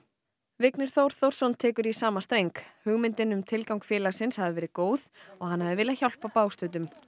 Vignir Þór Þórsson tekur í sama hugmyndin um tilgang félagsins hafi verið góð og hann hafi viljað hjálpa bágstöddum